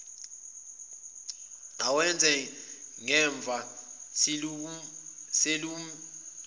awenze ngemumva selimbulele